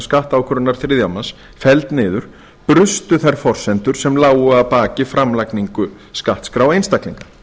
skattákvörðunar þriðja manns felld niður brustu þær forsendur sem lágu að baki framlagningu skattskráa einstaklinga